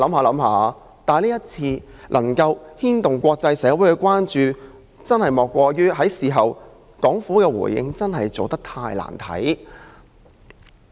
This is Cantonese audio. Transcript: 今次事件之所以牽動國際社會的關注，莫過於港府事後的回應真是太難看了。